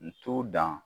N t'u dan